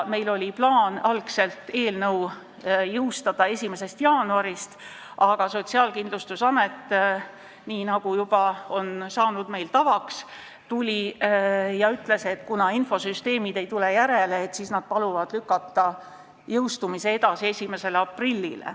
Meil oli algul plaan eelnõu jõustada 1. jaanuarist, aga Sotsiaalkindlustusamet, nii nagu meil on juba tavaks saanud, ütles, et kuna infosüsteemid ei tule järele, siis nad paluvad lükata jõustumise edasi 1. aprillile.